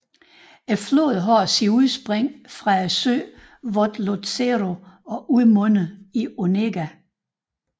Floden har sit udspring fra søen Vodlozero og udmunder i Onega